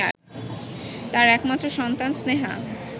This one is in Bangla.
তার একমাত্র সন্তান স্নেহা